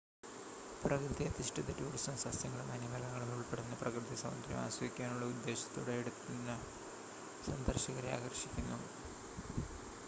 പ്രകൃതി-അധിഷ്ഠിത tourism സസ്യങ്ങളും വന്യമൃഗങ്ങളും ഉൾപ്പെടുന്ന പ്രകൃതി സൗന്ദര്യം ആസ്വദിക്കാനുള്ള ഉദ്ദേശ്യത്തോടെ എടുത്തുന്ന സന്ദർശകരെ ആകർഷിക്കുന്നു